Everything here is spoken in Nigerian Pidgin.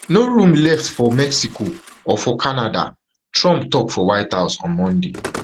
no room left for mexico or for canada trump tok for white house on monday